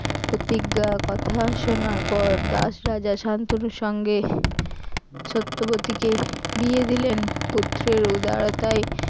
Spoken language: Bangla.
প্রতিজ্ঞার কথা শোনার পর দাস রাজা শান্তনুর সঙ্গে সত্যবতীকে বিয়ে দিলেন পুত্রের উদারতায়